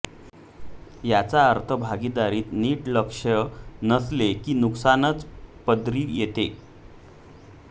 याचा अर्थ भागीदारीत नीट लक्ष नसले की नुकसानच पदरी येते